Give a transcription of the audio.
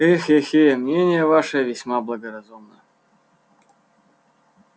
э-хе-хе мнение ваше весьма благоразумно